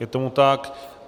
Je tomu tak.